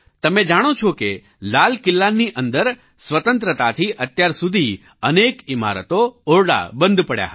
તમે જાણો છો કે લાલ કિલ્લાની અંદર સ્વતંત્રતાથી અત્યાર સુધી અનેક ઓરડા ઈમારતો બંધ પડી હતી